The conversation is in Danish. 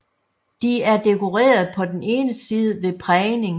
De er dekoreret på den ene side ved prægning